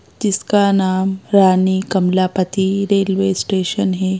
जिसका नाम Rani Kamalapati railway station है।